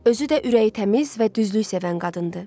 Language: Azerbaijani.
Özü də ürəyi təmiz və düzlük sevən qadındır.